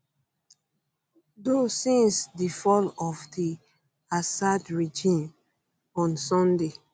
do since di fall of di assad regime on sunday